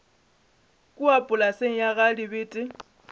kua polaseng ya ga dibete